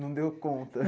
Não deu conta.